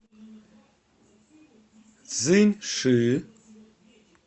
цзиньши